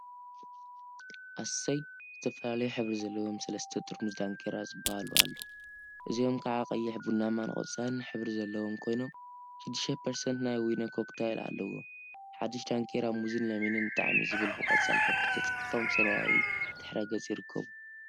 አሰይ! ዝተፈላለዩ ሕብሪ ዘለዎም ሰለስተ ጠርሙዝ ዳንኪራ ዝብሃሉ አለው፡፡ እዚኦም ከዓ ቀይሕ፣ ቡናማን ቆፃልን ሕብሪ ዘለዎም ኮይኖም፤ 6ፐርሰንት ናይ ዊነ ኮክታይል አለዎም፡፡ ሓዱሽ ዳንኪራ ሙዝን ለሚንን ጣዕሚ ዝብል ብቆፃል ሕብሪ ተፃሒፎም ብሰማያዊ ድሕረ ገፅ ይርከቡ፡፡